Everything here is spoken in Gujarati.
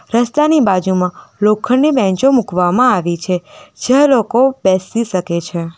રસ્તાની બાજુમાં લોખંડની બેન્ચો મૂકવામાં આવી છે જ્યાં લોકો બેસી સકે છે.